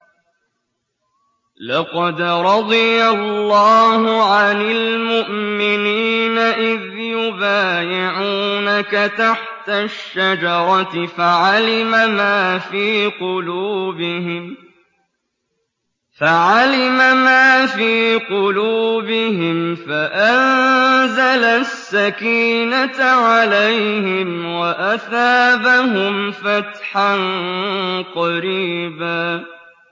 ۞ لَّقَدْ رَضِيَ اللَّهُ عَنِ الْمُؤْمِنِينَ إِذْ يُبَايِعُونَكَ تَحْتَ الشَّجَرَةِ فَعَلِمَ مَا فِي قُلُوبِهِمْ فَأَنزَلَ السَّكِينَةَ عَلَيْهِمْ وَأَثَابَهُمْ فَتْحًا قَرِيبًا